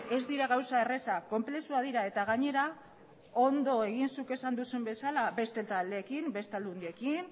ez dira gauza errazak konplexuak dira eta gainera ondo egin zuk esan duzun bezala beste taldeekin beste aldundiekin